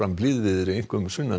blíðviðri einkum sunnan